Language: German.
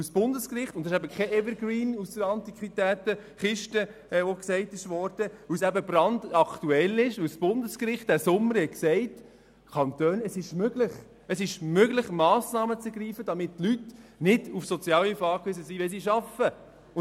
Das Bundesgericht – und hier handelt es sich nicht um einen Evergreen, wie es gesagt wurde – entschied im Sommer, dass es den Kantonen möglich sei, Massnahmen zu ergreifen, um zu vermeiden, dass Personen Sozialhilfe beanspruchen müssen, wenn sie arbeiten.